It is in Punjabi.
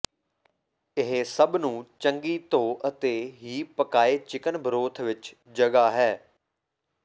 ਇਹ ਸਭ ਨੂੰ ਚੰਗੀ ਧੋ ਅਤੇ ਹੀ ਪਕਾਏ ਚਿਕਨ ਬਰੋਥ ਵਿਚ ਜਗ੍ਹਾ ਹੈ